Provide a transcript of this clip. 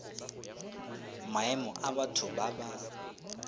maemo a batho ba ba